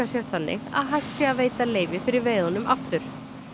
sér þannig að hægt sé að veita leyfi fyrir veiðunum aftur